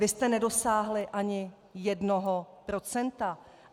Vy jste nedosáhli ani jednoho procenta.